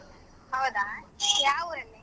ಹೌದಾ ಯಾವುರಲ್ಲಿ?